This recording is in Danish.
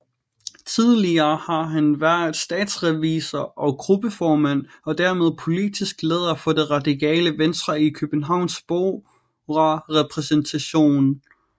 Tidligere har han været statsrevisor og gruppeformand og dermed politisk leder for Det Radikale Venstre i Københavns Borgerrepræsentation